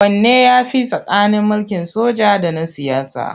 Wanne ya fi tsakanin mulkin soja da na siyasa?